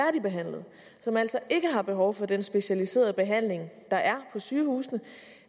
og som altså ikke har behov for den specialiserede behandling der er på sygehusene